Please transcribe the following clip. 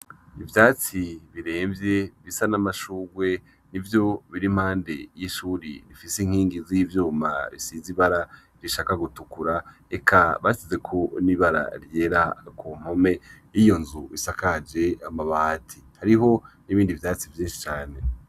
Ivyatsi biremvye bisa n’amashugwe nivyo biri impande y’ishure rifise inkingi z’ivyuma bisize ibara rishaka gutukura, eka basizeko n’ibara ryera kumpome yiyo nzu isakaje amabati, hariho n’ibindi vyatsi vyinshi cane.